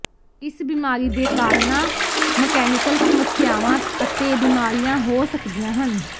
ਇਸ ਬਿਮਾਰੀ ਦੇ ਕਾਰਨਾਂ ਮਕੈਨੀਕਲ ਸਮੱਸਿਆਵਾਂ ਅਤੇ ਬਿਮਾਰੀਆਂ ਹੋ ਸਕਦੀਆਂ ਹਨ